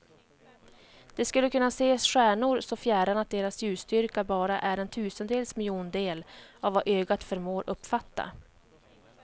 Det skulle kunna se stjärnor så fjärran att deras ljusstyrka bara är en tusendels miljondel av vad ögat förmår uppfatta.